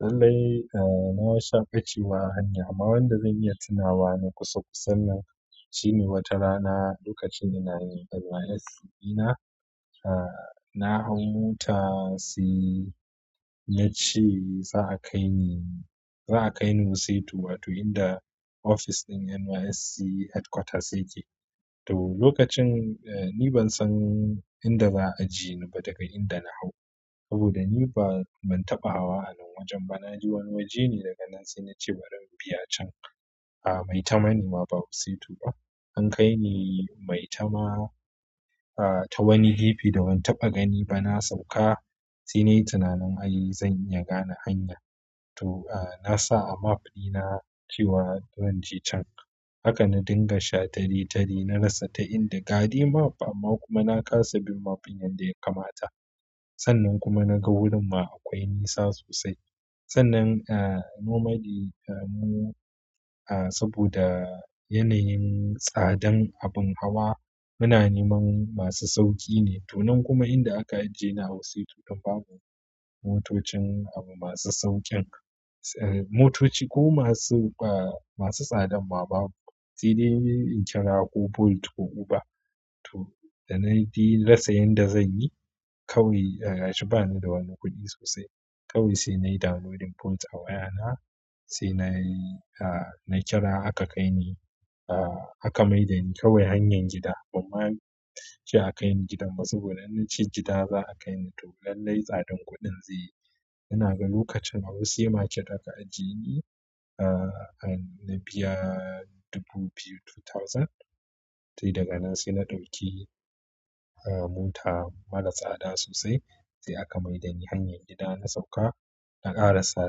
Lallai, a na sha ɓacewa a hanya amma wanda zan iya tunawa na kusa kusa nan shine wata rana lokacin ina yin NYSC ɗina, aa na hau mota sai na ci za a kai ni, za a kai ni wuse biyu wato inda ofis ɗin NYSC headquarters yake. To lokacin ni ban san inda za a je ni ba daga inda na hau. Saboda ni ba ban taɓa hawa anan wajen ba. Na je wani waje ne daga nan sai na ce bari in biya can. A'a maitama ne ma ba wuse biyu ba. An kai ni maitama ta wani gefe da ban taɓa gani ba. Na sauka sai nayi tunanin ai zan iya gane hanya. To na sa a map ɗina cewa zan je can. Haka na dinga sha taletale na rasa ta inda gadai map amma kuma na kasa bin map ɗin yanda ya kamata. Sannan kuma na ga wurin ma akwai nisa sosai. Sannan a normaly mu saboda yanayin tsadan abin hawa muna neman masu sauƙi ne. To nan kuma inda aka ajiye ni a wuse tu tun ba bu motocin abu masu sauƙin, motoci ko masu tsadan ma babu. Si dai in kira ko Bolt ko Uber. To da na ya rasa yanda zanyi kawai gashi bani da wani kuɗi sosai. Kawai si nayi downloadin Bolt a wayana. Sai nayi kira aka mai dani kawai hanyan gida ban ma ce a kai ni gidan ba saboda na ci gida za a kai ni. To lallai tsadan kuɗin zai. Na ga lokacin a wuse market aka ajiye ni. A'a na biya dubu biyu two thousand. Sai daga nan sai na ɗauki mota mara tsada sosai sai aka maida ni hanyar gida. Na sauka na ƙara sa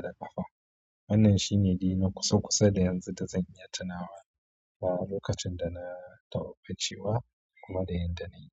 da ƙafa. Wannan shine dai na kusa kusa da yanzu da zan iya tunawa a'a lokacin da na taɓa ɓacewa kuma da yanda na yi.